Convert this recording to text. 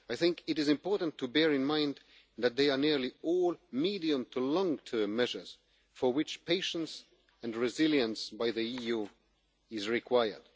on. I think it is important to bear in mind that they are nearly all medium to long-term measures, for which patience and resilience by the EU are required.